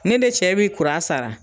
Ne de cɛ b'i kuran sara